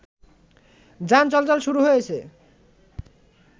যান চলাচল শুরু হয়েছে